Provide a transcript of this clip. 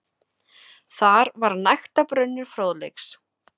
Þar var nægtabrunnur fróðleiks.